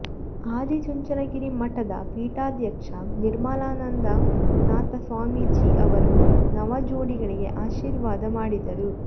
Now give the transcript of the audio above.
ಆದಿಚುಂಚನಗಿರಿ ಮಠದ ಪೀಠಾಧ್ಯಕ್ಷ ನಿರ್ಮಲಾನಂದನಾಥ ಸ್ವಾಮೀಜಿ ಅವರು ನವ ಜೋಡಿಗಳಿಗೆ ಆಶೀರ್ವಾದ ಮಾಡಿದರು